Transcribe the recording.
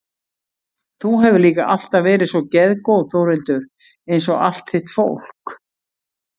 Þú hefur líka alltaf verið svo geðgóð Þórhildur einsog allt þitt fólk.